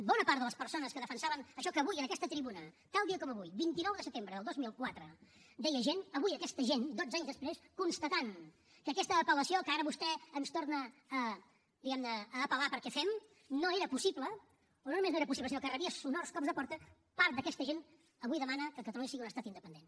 bona part de les persones que defensaven això que avui en aquesta tribuna tal dia com avui vint nou de setembre del dos mil quatre deia gent avui aquesta gent dotze anys després constatant que aquesta apel·lació que ara vostè ens torna diguem ne a apel·lar perquè fem no era possible o no només no era possible sinó que rebia sonors cops de porta part d’aquesta gent avui demana que catalunya sigui un estat independent